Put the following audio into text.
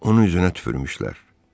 Onun üzünə tüpürmüşlər.